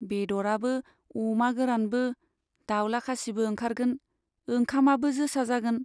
बेद'राबो अमा गोरानबो, दाउला खासिबो ओंखारगोन, ओंखामाबो जोसा जागोन।